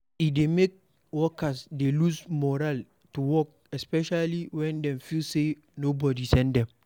E dey make workers dey lose morale to work especially when dem feel say nobody send them